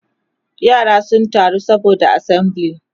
yara sun taru saboda assembly